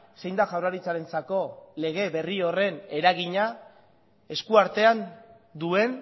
zein da jaurlaritzarentzako lege berri horren eragina eskuartean duen